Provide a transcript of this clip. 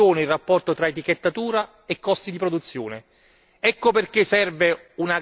Ecco perché va studiato con attenzione il rapporto tra etichettatura e costi di produzione.